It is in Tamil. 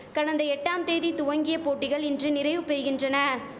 கடந்த எட்டாம் தேதி துவங்கிய போட்டிகள் இன்று நிறைவு பெறிகின்றன